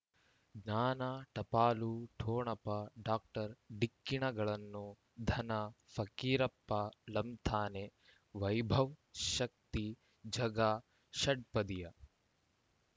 ಜ್ಞಾನ ಟಪಾಲು ಠೊಣಪ ಡಾಕ್ಟರ್ ಢಿಕ್ಕಿ ಣಗಳನು ಧನ ಫಕೀರಪ್ಪ ಳಂತಾನೆ ವೈಭವ್ ಶಕ್ತಿ ಝಗಾ ಷಟ್ಪದಿಯ